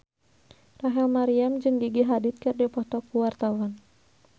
Rachel Maryam jeung Gigi Hadid keur dipoto ku wartawan